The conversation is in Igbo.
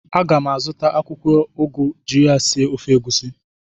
A ga m azụta akwụkwọ ugu iji sie ofe egusi.